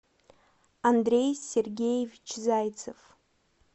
андрей сергеевич зайцев